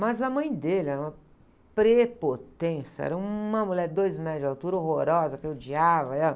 Mas a mãe dele era uma prepotência, era uma mulher de dois metros de altura, horrorosa, que eu odiava ela.